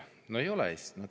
No ei ole hästi!